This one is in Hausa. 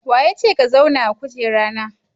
Wa ya ce ka zauna a kujera na?